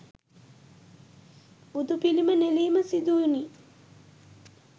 බුදුපිළිම නෙලීම සිදුවුණි.